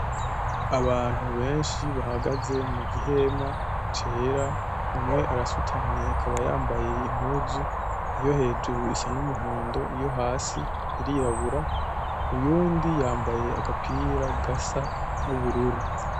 Abantu benshi bahagaze mu gihema cera. Umwe arasutamye akaba yambaye impuzu yo hejuru isa n'umuhondo, iyo hasi irirabura. Uwundi yambaye agapira gasa n'ubururu.